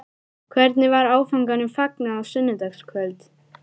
Hvernig var áfanganum fagnað á sunnudagskvöld?